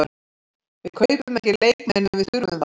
Við kaupum ekki leikmenn nema við þurfum þá.